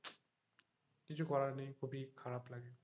কিছুই করার নেই খুব ই খারাপ লাগে,